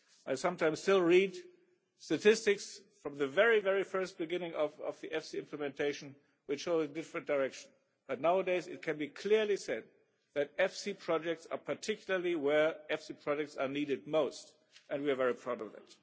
I sometimes still read statistics from the very first beginning of the EFSI implementation which show a different direction, but nowadays it can be clearly said that EFSI projects are particularly where EFSI projects are needed most, and we are very proud of that.